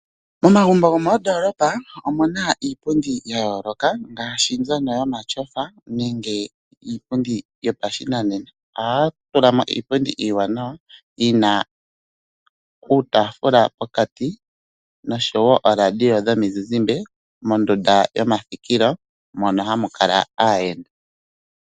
Momagumbo gomoondoolopa omu na iipundi ya yooloka ngaashi mbyono yomatyofa nenge yopashinanena. Ohaya tulamo iipundi iiwanawa yi na iitaafula pokati, noshowo ooRadio dhomizizimbe mondunda yomathikilo mono hamu kala aayenda.